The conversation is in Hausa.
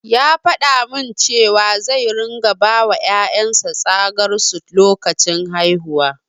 Ya faɗa min cewa zai ringa bawa ƴaƴan sa tsagar su lokacin haihuwa.